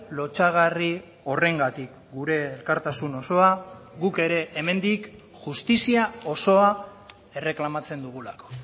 lotsagarri horrengatik gure elkartasun osoa guk ere hemendik justizia osoa erreklamatzen dugulako